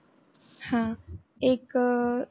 आह एक